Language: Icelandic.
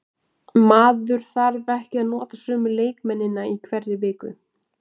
Maður þarf ekki að nota sömu leikmennina í hverri viku.